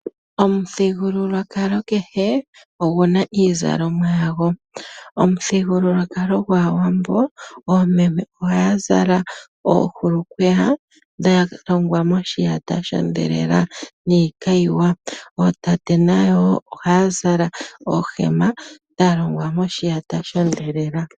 Omuthigululwakalo kehe ogu na iizalomwa ya go, omuthigululwakalo gwaawambo oomeme oha ya zala oohulukweya dhalongwa moshiyata shondhelela niikayiwa , ootate na yo oha ya zala oohema dhalongwa moshiyata shondhelela.